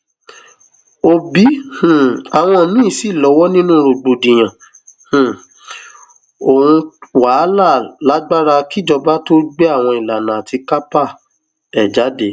òbí um àwọn míín sì lọwọ nínú rògbòdìyàn um ohun wàhálà lágbára kíjọba tóó gbé àwọn ìlànà àti kápá ẹ jáde